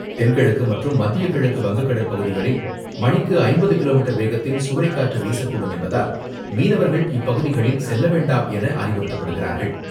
தென்கிழக்கு மற்றும் மத்திய கிழக்கு வங்கக்கடல் பகுதிகளில் மணிக்கு ஐம்பது கிலோமீட்டர் வேகத்தில் சூறைக்காற்று வீசக்கூடும் என்பதால் மீனவர்கள் இப்பகுதிகளில் செல்லவேண்டாம் என அறிவுறுத்தப்படுகிறார்கள்.